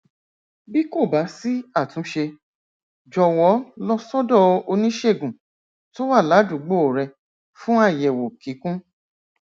bí kò bá sí àtúnṣe jọwọ lọ sọdọ oníṣègùn tó wà ládùúgbò rẹ fún àyẹwò kíkún